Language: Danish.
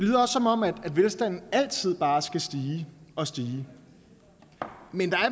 det velstanden altid bare skal stige og stige men der